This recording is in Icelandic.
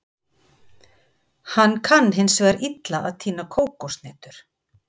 Hann kann hins vegar illa að tína kókoshnetur.